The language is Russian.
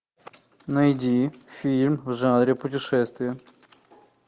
найди фильм в жанре путешествия